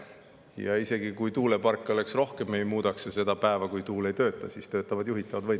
Ja isegi kui tuuleparke oleks rohkem, ei muudaks see seda päeva, kui tuule ei tööta.